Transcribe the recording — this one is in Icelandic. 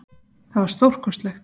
Það var stórkostlegt.